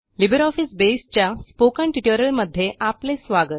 LibreOffice Base च्या spoken ट्युटोरियलमध्ये आपले स्वागत